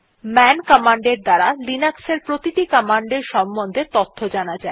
মান কমান্ড এর দ্বারা লিনাক্স এর প্রতিটি কমান্ডের সম্বন্ধে তথ্য জানা যায়